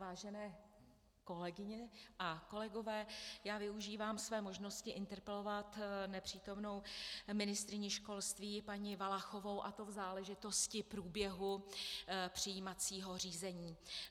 Vážené kolegyně a kolegové, já využívám své možnosti interpelovat nepřítomnou ministryni školství paní Valachovou, a to v záležitosti průběhu přijímacího řízení.